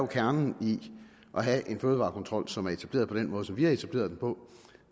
kernen i at have en fødevarekontrol som er etableret på den måde som vi har etableret den på